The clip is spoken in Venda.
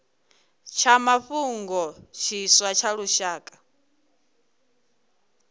tsha mafhungo tshiswa tsha lushaka